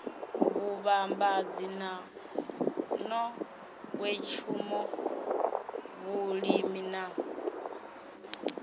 vhuvhambadzi na nḓowetshumo vhulimi na